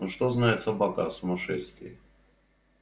но что знает собака о сумасшествии